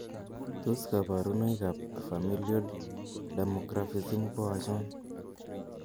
Tos kaborunoik ab familial dermographism ko achon?